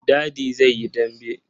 Dadi zai yi dambe.